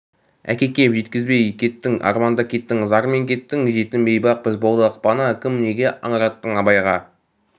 әкекем жеткізбей кеттің арманда кеттің зармен кеттің жетім бейбақ біз болдық пана кім неге аңыраттың абайға